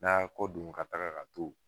N'a ya kɔ don ka taga ka to.